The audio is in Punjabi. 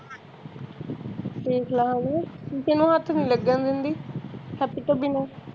ਚਲੋ ਹੱਥ ਨੀ ਲਗਨ ਦਿੰਦੀ ਹੱਥ ਤੋਂ ਬਿਨਾ